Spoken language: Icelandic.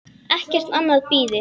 Ekkert annað bíði.